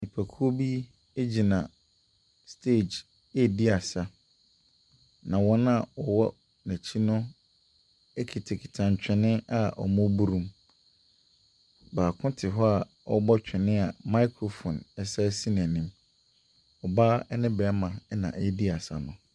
Nipakuo bi gyina stage redi asa, na wɔn a wɔwɔ n'akyi no kitakita ntwene a wɔreboro mu. Baako te hɔ a ɔrebɔ twene a microphone sane si n'anim. Ɔbaa ne barima na wɔredi asa no.